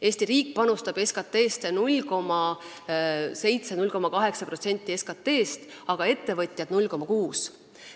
Eesti riik panustab 0,7–0,8% SKT-st, aga ettevõtjad 0,6%.